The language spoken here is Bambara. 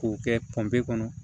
K'o kɛ pɔnpe kɔnɔ